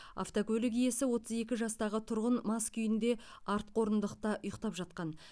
автокөлік иесі отыз екі жастағы тұрғын мас күйінде артқы орындықта ұйықтап жатқан